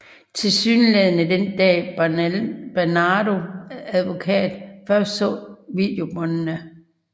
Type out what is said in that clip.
Tilsyneladende den dag Bernardo advokat først så videobåndene